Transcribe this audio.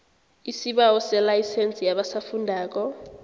isibawo selayisense yabasafundako